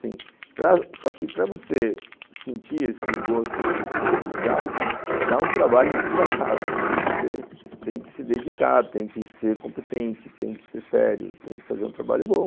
Só que para você sentir esse gosto de ser legal, dá um trabalho desgraçado, porque você tem que se dedicar, tem que ser competente, tem que ser sério, tem que fazer um trabalho bom.